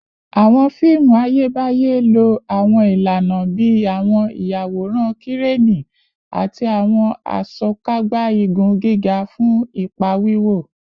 Awọn fiimu Ayebaye lo awọn ilana bii awọn iyaworan Kireni ati awọn Asokagba igun giga fun ipa wiwo